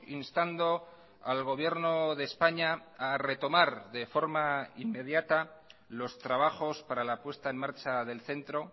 instando al gobierno de españa a retomar de forma inmediata los trabajos para la puesta en marcha del centro